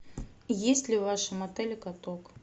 есть ли в вашем отеле каток